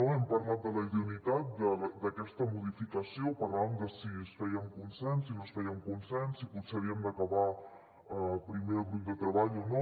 hem parlat de la idoneïtat d’aquesta modificació per tant de si es feia amb consens si no es feia amb consens si potser havíem d’acabar primer el grup de treball o no